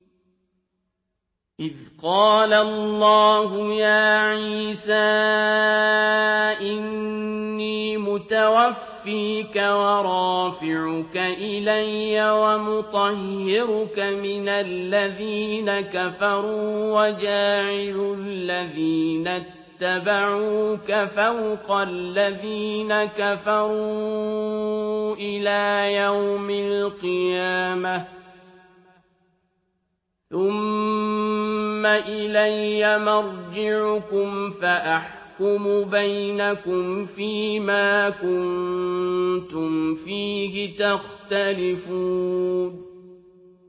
إِذْ قَالَ اللَّهُ يَا عِيسَىٰ إِنِّي مُتَوَفِّيكَ وَرَافِعُكَ إِلَيَّ وَمُطَهِّرُكَ مِنَ الَّذِينَ كَفَرُوا وَجَاعِلُ الَّذِينَ اتَّبَعُوكَ فَوْقَ الَّذِينَ كَفَرُوا إِلَىٰ يَوْمِ الْقِيَامَةِ ۖ ثُمَّ إِلَيَّ مَرْجِعُكُمْ فَأَحْكُمُ بَيْنَكُمْ فِيمَا كُنتُمْ فِيهِ تَخْتَلِفُونَ